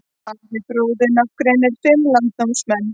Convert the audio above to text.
Ari fróði nafngreinir fimm landnámsmenn.